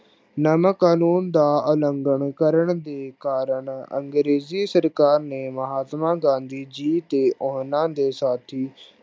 ਨਮਕ ਕਾਨੂੰਨ ਦਾ ਉਲੰਗਣ ਕਰਨ ਦੇ ਕਾਰਨ ਅੰਗਰੇਜ਼ੀ ਸਰਕਾਰ ਨੇ ਮਹਾਤਮਾ ਗਾਂਧੀ ਜੀ ਤੇ ਉਹਨਾਂ ਦੇ ਸਾਥੀ